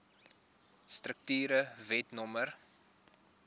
strukture wet no